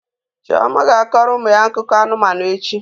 Chioma ga-akọrọ ụmụ ya akụkọ anụmanụ echi.